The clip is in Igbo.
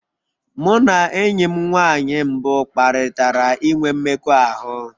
Mụ na enyi m nwanyị mbụ kparịtara inwe mmekọahụ.